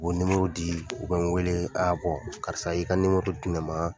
U bɛ di u bɛ n wele a karisa i ka di ne ma.